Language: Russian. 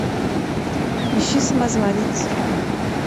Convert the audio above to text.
ищи самозванец